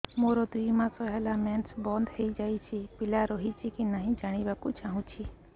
ମୋର ଦୁଇ ମାସ ହେଲା ମେନ୍ସ ବନ୍ଦ ହେଇ ଯାଇଛି ପିଲା ରହିଛି କି ନାହିଁ ଜାଣିବା କୁ ଚାହୁଁଛି